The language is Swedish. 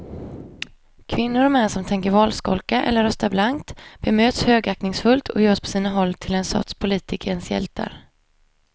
Kvinnor och män som tänker valskolka eller rösta blankt bemöts högaktningsfullt och görs på sina håll till en sorts politikens hjältar.